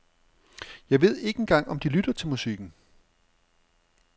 Jeg ved ikke engang om de lytter til musikken.